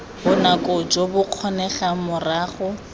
bonako jo bo kgonegang morago